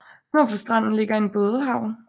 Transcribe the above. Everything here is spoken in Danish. Nord for stranden ligger en bådehavn